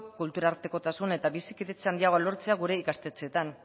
kultura artekotasun eta bizikidetza handiagoa lortzea gure ikastetxeetan